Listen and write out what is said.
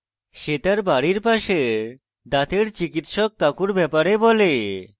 সে তার বাড়ির পাশের দাঁতের চিকিৎসক কাকুর ব্যাপারে বলে